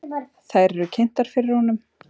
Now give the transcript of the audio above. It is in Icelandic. Þær eru kynntar fyrir honum.